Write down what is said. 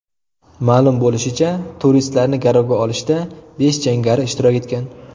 Ma’lum bo‘lishicha, turistlarni garovga olishda besh jangari ishtirok etgan.